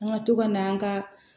An ka to ka na an ka